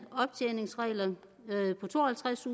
optjeningsregler med to og halvtreds